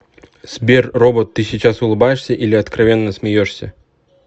сбер робот ты сейчас улыбаешься или откровенно смеешься